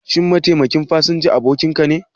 Shin mataimakin fasinjan abokinka ne?